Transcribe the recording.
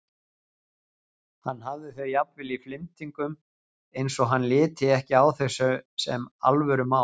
Hann hafði þau jafnvel í flimtingum eins og hann liti ekki á þau sem alvörumál.